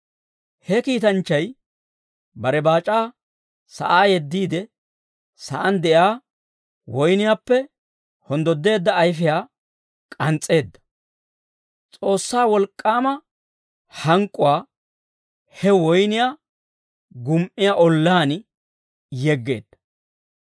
He kiitanchchay bare baac'aa sa'aa yeddiide, sa'aan de'iyaa woyniyaappe honddodda ayfiyaa k'ans's'eedda; S'oossaa wolk'k'aama hank'k'uwaa he woyniyaa gumi"iyaa ollaan yeggeedda.